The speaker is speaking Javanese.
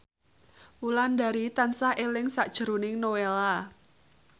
Wulandari tansah eling sakjroning Nowela